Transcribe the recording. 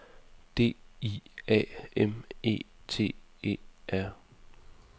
D I A M E T E R